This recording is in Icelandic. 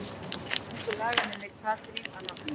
Ungur laganemi Katrín að nafni.